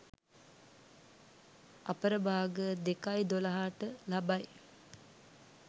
අපරභාග 02.12 ට ලබයි.